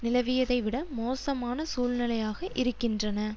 நிலவியதைவிட மோசமான சூழ்நிலையாக இருக்கின்றன